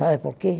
Sabe por quê?